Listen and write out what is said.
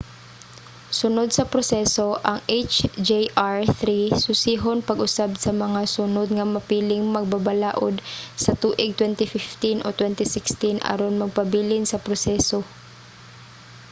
sunod sa proseso ang hjr-3 susihon pag-usab sa mga sunod nga mapiling magbabalaod sa tuig 2015 o 2016 aron magpabilin sa proseso